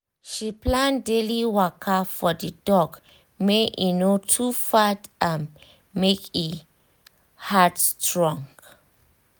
she plan daily waka for the dog make e e no too fat and make e heart strong